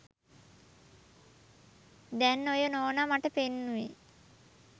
දැන් ඔය නෝනා මට පෙන්නුවේ